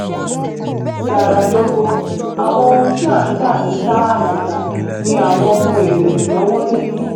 zara dogo: àwọn ohun tí a ń tà ní tààràtà ni àwọn ohun èlò ìnáwó níbi